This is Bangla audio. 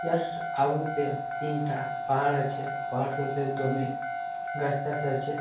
ইহার আগুতে তিনটা পাহাড় আছে ।পাহাড়টোতে জমির গাছটাছ আছে ।